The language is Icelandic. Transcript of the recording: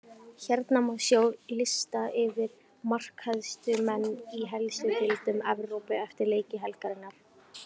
Hérna má sjá lista yfir markahæstu menn í helstu deildum Evrópu eftir leiki helgarinnar: